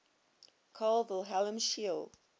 carl wilhelm scheele